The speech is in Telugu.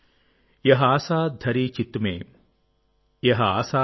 చిత్తంలో ఉందీ ఆశ చిత్తంలో ఉందీ ఆశ